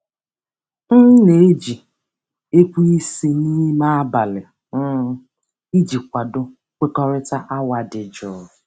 M na-eji ekweisi n'ime abalị um iji kwado nkwekọrịta awa dị jụụ.